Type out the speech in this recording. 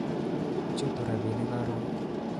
Chutu rabinik koron